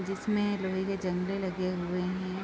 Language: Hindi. जिसमें लोहे के जंगले लगे हुए हैं|